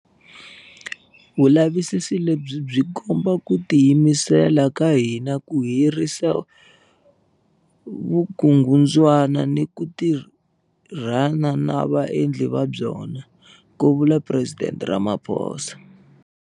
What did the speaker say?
Vulavisisi lebyi byi komba ku tiyimisela ka hina ku herisa vukungundzwana ni ku tirhana na vaendli va byona, ku vula Presidente Ramaphosa.